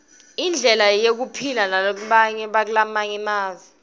indlela yephila nabakulamange emave